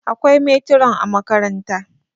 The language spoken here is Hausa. akwai meturan a makaranta